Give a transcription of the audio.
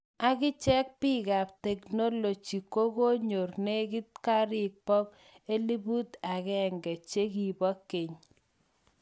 Akichek bik kap tecknology kokonyor nekit ngarik 1000 chekibo keny.